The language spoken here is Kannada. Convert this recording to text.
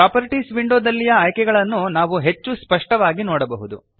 ಪ್ರಾಪರ್ಟೀಸ್ ವಿಂಡೋದಲ್ಲಿಯ ಆಯ್ಕೆಗಳನ್ನು ಈಗ ನಾವು ಹೆಚ್ಚು ಸ್ಪಷ್ಟವಾಗಿ ನೋಡಬಹುದು